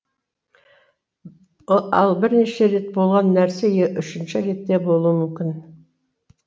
ал бірнеше рет болған нәрсе үшінші ретте болуы мүмкін